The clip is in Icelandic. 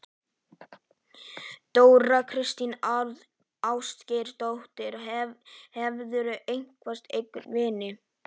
Þóra kristín Ásgeirsdóttir: Hefurðu eignast einhverja vini?